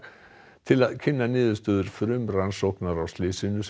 til að kynna niðurstöður frumrannsóknar á slysinu sem